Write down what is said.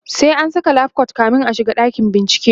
sai an Saka lab coat kamin a shiga dakin bincike